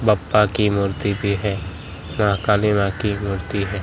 बप्पा की मूर्ति भी है व काली मां की मूर्ति --